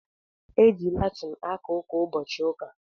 E ji Latin aka ụka ụbọchị ụka